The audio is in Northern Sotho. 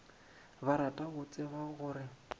ba rata go tseba gore